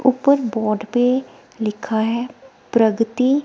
ऊपर बोर्ड पे लिखा है प्रगति--